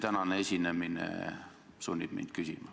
Tänane esinemine sunnib mind seda küsima.